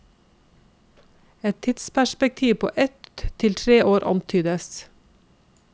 Et tidsperspektiv på ett til tre år antydes.